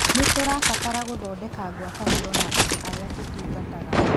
Nĩ tũrabatara gũthondeka ngwatanĩro na andũ arĩa tũtungataga.